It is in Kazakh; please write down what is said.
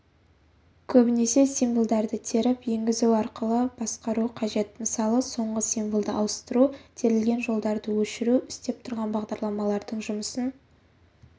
көбіне символдарды теріп енгізу арқылы басқару қажет мысалы соңғы символды ауыстыру терілген жолдарды өшіру істеп тұрған бағдарламалардың жұмысын